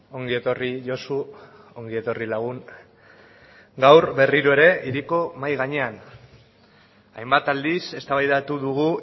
ongi etorri josu ongi etorri lagun gaur berriro ere hiriko mahai gainean hainbat aldiz eztabaidatu dugu